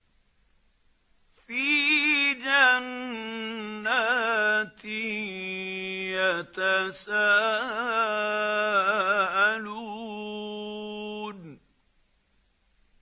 فِي جَنَّاتٍ يَتَسَاءَلُونَ